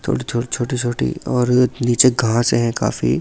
थोड़ी-थोड़ी छोटी-छोटी और नीचे घाँस से हैं काफी--